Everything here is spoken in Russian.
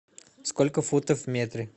сколько футов в метре